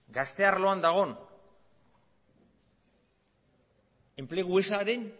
gazte arloan dagoen enplegu ezaren